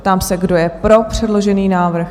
Ptám se, kdo je pro předložený návrh?